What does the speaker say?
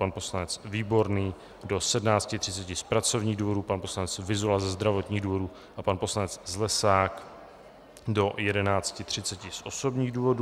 pan poslanec Výborný do 17.30 z pracovních důvodů, pan poslanec Vyzula ze zdravotních důvodů a pan poslanec Zlesák do 11.30 z osobních důvodů.